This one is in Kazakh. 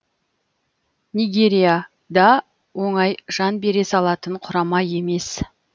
нигерия да оңай жан бере салатын құрама емес